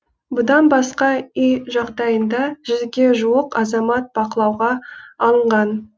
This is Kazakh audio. бұдан басқа үй жағдайында жүзге жуық азамат бақылауға алынған